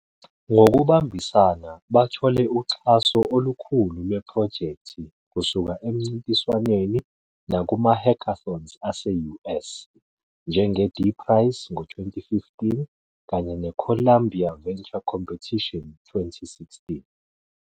Ngokubambisana bathole uxhaso olukhulu lwephrojekthi kusuka emincintiswaneni nakuma- hackathons aseUS, njenge-D-Prize ngo-2015 kanye ne-Columbia Venture Competition 2016.